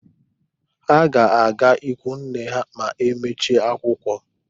Ha ga-aga ikwunne ha ma e mechie akwụkwọ.